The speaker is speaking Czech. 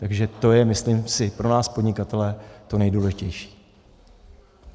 Takže to je, myslím si, pro nás podnikatele to nejdůležitější.